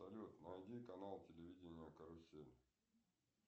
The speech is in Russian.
салют найди канал телевидения карусель